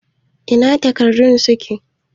Ina takardun suke?